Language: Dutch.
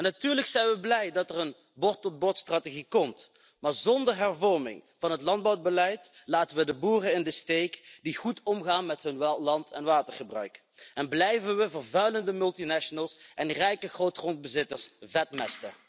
Natuurlijk zijn we blij dat er een van boer tot bord strategie komt, maar zonder hervorming van het landbouwbeleid laten we de boeren in de steek die goed omgaan met hun land en watergebruik en blijven we vervuilende multinationals en rijke grootgrondbezitters vetmesten.